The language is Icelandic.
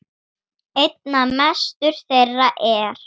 Einna mestur þeirra er